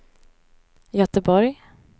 Göteborg